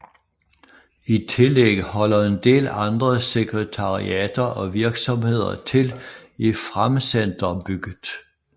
I tillæg holder en del andre sekretariater og virksomheder til i Framsenterbygget